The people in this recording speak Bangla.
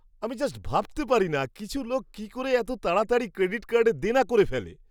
আমি জাস্ট ভাবতে পারি না কিছু লোক কী করে এতো তাড়াতাড়ি ক্রেডিট কার্ডে দেনা করে ফেলে!